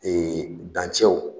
dancɛw